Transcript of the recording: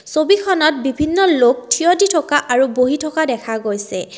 ছবিখনত বিভিন্ন লোক থিয় দি থকা আৰু বহি থকা দেখা গৈছে।